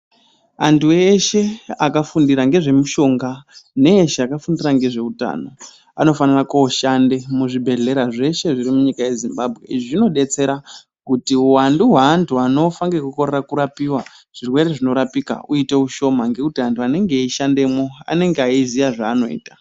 Antu eshe akafundira ngezvemishonga ne eshe akafundira ngezveutano anofanira kooshande muzvibhehlera zveshe zviri munyika yeZimbabwe izvi zvinobetsera kuti hwuwandu hweantu anofa ngekukorera kurapiwa zvirwere zvinorapika uite ushoma ngekuti antu anenge eishandemwo anenge eiziya zvaanoita.